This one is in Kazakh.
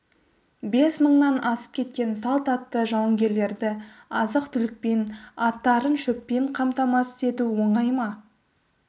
бес мыңнан асып кеткен салт атты жауынгерлерді азық-түлікпен аттарын шөппен қамтамасыз ету оңай ма